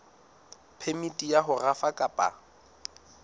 phemiti ya ho rafa kapa